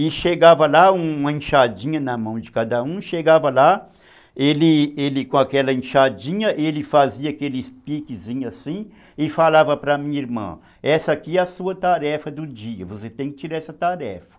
E chegava lá, uma enxadinha na mão de cada um, chegava lá, ele com aquela enxadinha, ele fazia aqueles piquezinhos assim e falava para a minha irmã, essa aqui é a sua tarefa do dia, você tem que tirar essa tarefa.